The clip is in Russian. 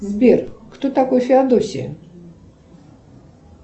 сбер кто такой феодосия